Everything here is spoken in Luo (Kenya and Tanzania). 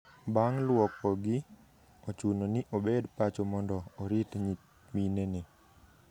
Bang' lwokogi, ochuno ni obed pacho mondo orit nyiminene.